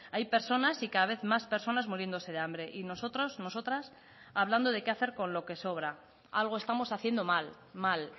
hay personas y cada vez más personas muriéndose de hambre y nosotros nosotras hablando de qué hacer con lo que sobra algo estamos haciendo mal mal